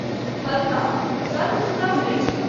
फलतः सर्वसुलभ नहिं छल।